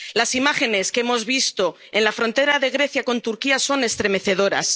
Las imágenes que hemos visto en la frontera de Grecia con Turquía son estremecedoras.